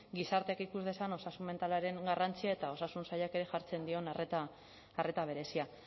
gizarteak ikus dezan osasun mentalaren garrantzia eta osasun sailak ere jartzen dion arreta berezia